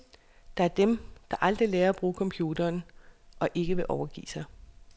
Der er dem, der aldrig lærer at bruge computeren og ikke vil overgive sig.